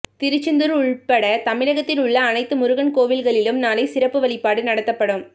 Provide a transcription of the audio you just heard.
திருச்செந்தூர் உள்பட தமிழகத்தில் உள்ள அனைத்து முருகன் கோவில்களிலும் நாளை சிறப்பு வழிபாடு நடத்தப்படும்